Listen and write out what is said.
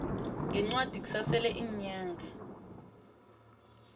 ngencwadi kusasele iinyanga